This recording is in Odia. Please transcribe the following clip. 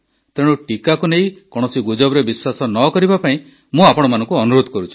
ତେଣୁ ଟିକାକୁ ନେଇ କୌଣସି ଗୁଜବରେ ବିଶ୍ୱାସ ନ କରିବା ପାଇଁ ମୁଁ ଆପଣମାନଙ୍କୁ ଅନୁରୋଧ କରୁଛି